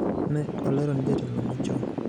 ni e olero ni e jatelono machoni.